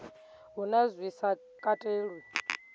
hu na zwi sa katelwi